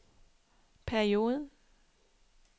perioden